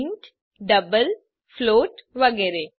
int double float વગેરે